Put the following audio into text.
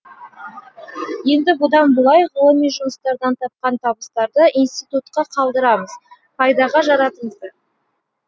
енді бұдан былай ғылыми жұмыстардан тапқан табыстарды институтқа қалдырамыз пайдаға жаратыңыздар